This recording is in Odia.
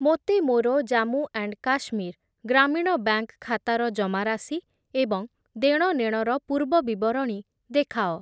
ମୋତେ ମୋର ଜାମ୍ମୁ ଆଣ୍ଡ୍ କାଶ୍ମୀର୍ ଗ୍ରାମୀଣ ବ୍ୟାଙ୍କ୍‌ ଖାତାର ଜମାରାଶି ଏବଂ ଦେଣନେଣର ପୂର୍ବବିବରଣୀ ଦେଖାଅ ।